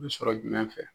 Sɔrɔ jumɛn fɛ